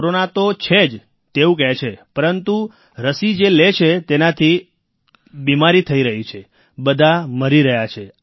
corona તો છે જ તેવું કહે છે પરંતુ રસી જે લે છે તેનાથી અર્થાત્ બીમારી થઈ રહી છે બધા મરી રહ્યા છે